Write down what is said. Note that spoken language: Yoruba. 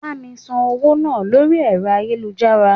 Bá mi san owó náà lórí ẹ̀rọ ayélujára.